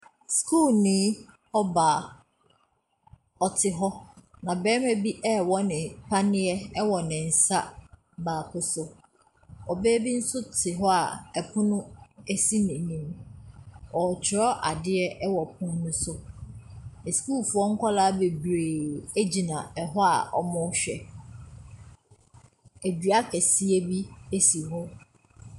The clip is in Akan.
Skuulni ɔbaa ɔte hɔ na bɛɛma bi ɛɛwɔ ne paniɛ ɛwɔ ne nsa baako so. Ɔbaa bi so te hɔ a ɛpono esi ne nim. Ɔkyerɛw adeɛ wɔ ɛpono no so. Ɛskuulfoɔ kɔɔla bebree egyina ɛhɔ a ɔmo hwɛ. Adua kɛseɛ bi esi hɔ.